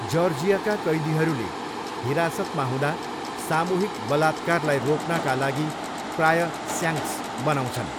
जर्जियाका कैदीहरूले हिरासतमा हुँदा सामूहिक बलात्कारलाई रोक्नाका लागि प्रायः 'स्याङ्क्स' बनाउँछन्।